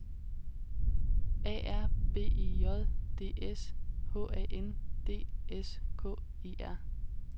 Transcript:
A R B E J D S H A N D S K E R